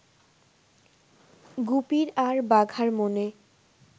গুপির আর বাঘার মনে